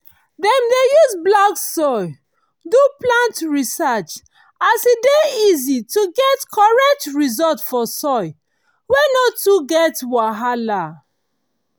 dem dey use black soil do plant research as e dey easy to get correct result for soil wey no too get wahala.